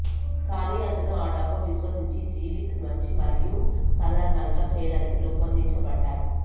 కానీ అతను ఆ డబ్బు విశ్వసించి జీవిత మంచి మరియు సాదారణంగా చేయడానికి రూపొందించబడ్డాయి